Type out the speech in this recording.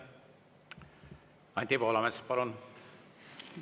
Anti Poolamets, palun!